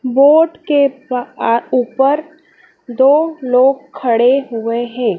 Board के पा आ ऊपर दो लोग खड़े हुए हैं।